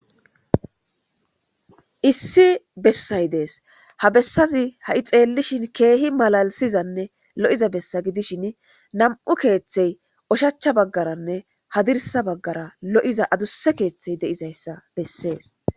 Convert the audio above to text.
issi bessay dees ha bessazi ha7i xeellishin keehi malalisizanne lo7iza bessa gidishin nam7u keeththey oshachcha baggaranne hadirsa baggara lo7iza adusse keeththey deizayssa bessees